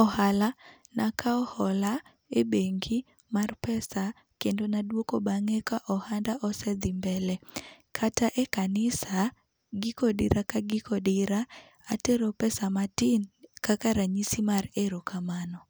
ohala nakawo hola e bengi mar pesa kendo naduoko bang'e ka ohanda osedhi pesa kata e kanisa giko odira ka giko odira atero pesa matin kaka ranyisi mar erokamano.